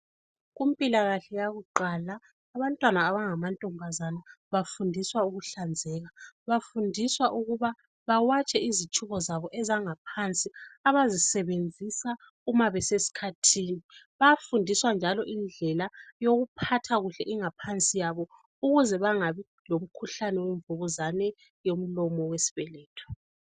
Kumpilakahle yakuqala abantwana abangamantombazana bafundiswa ukuhlanzeka. Bafundiswa ukuba bawatshe izitshubo zabo abazisebenzisa nxa besesikhathini. Bayafundiswa njalo indlela yokuphatha kuhle ingaphansi yabo ukuze bangabi lomkhuhlane wemvukuzane yomlomo wesibeletho.